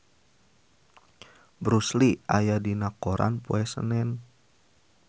Bruce Lee aya dina koran poe Senen